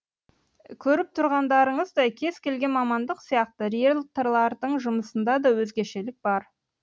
көріп тұрғандарыңыздай кез келген мамандық сияқты риелторлардың жұмысында да өзгешелік бар